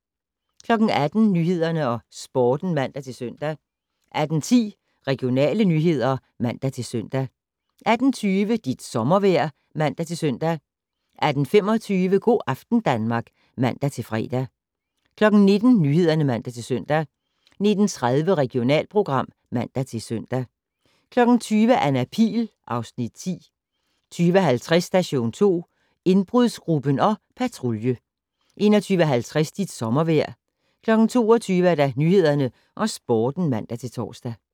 18:00: Nyhederne og Sporten (man-søn) 18:10: Regionale nyheder (man-søn) 18:20: Dit sommervejr (man-søn) 18:25: Go' aften Danmark (man-fre) 19:00: Nyhederne (man-søn) 19:30: Regionalprogram (man-søn) 20:00: Anna Pihl (Afs. 10) 20:50: Station 2: Indbrudsgruppen og Patrulje 21:50: Dit sommervejr 22:00: Nyhederne og Sporten (man-tor)